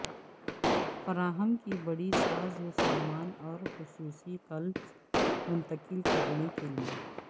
فراہم کی بڑی سازوسامان اور خصوصی کلپس منتقل کرنے کے لئے